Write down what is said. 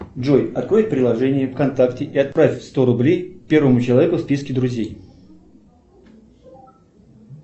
джой открой приложение вконтакте и отправь сто рублей первому человеку в списке друзей